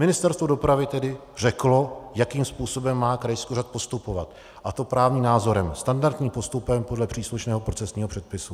Ministerstvo dopravy tedy řeklo, jakým způsobem má krajský úřad postupovat, a to právním názorem, standardním postupem podle příslušného procesního předpisu.